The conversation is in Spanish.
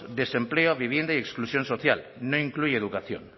desempleo vivienda y exclusión social no incluye educación